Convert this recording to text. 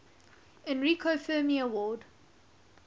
enrico fermi award